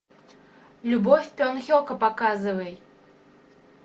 любовь бен хека показывай